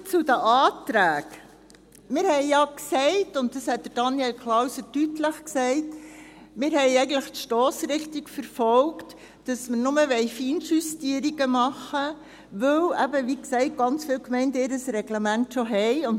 Nun zu den Anträgen: Wir haben ja gesagt, und dies hat Daniel Klauser deutlich gesagt, dass wir eigentlich die Stossrichtung verfolgt haben, dass wir nur Feinjustierungen machen wollen, weil, wie gesagt, viele Gemeinden ihr Reglement schon haben.